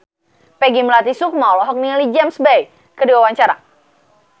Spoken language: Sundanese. Peggy Melati Sukma olohok ningali James Bay keur diwawancara